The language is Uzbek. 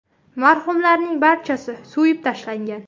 Marhumlarning barchasi so‘yib tashlangan.